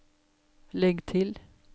legg til